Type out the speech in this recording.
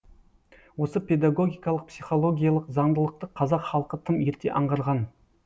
осы педагогикалық психологиялық заңдылықты қазақ халқы тым ерте аңғарған